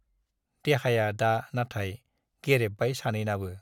देहाया दा नाथाय गेरेबबाय सानैनाबो।